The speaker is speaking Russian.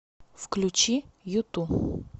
включи юту